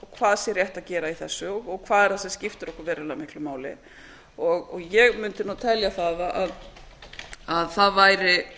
hvað sé rétt að gera í þessu og hvað er það sem skiptir okkur verulega miklu máli og ég mundi telja það að það væri